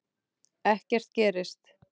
Ekkert gerist.